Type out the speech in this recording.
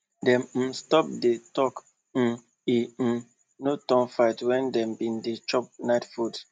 dem um stop the talk make um e um no turn fight when dem been dey chop night food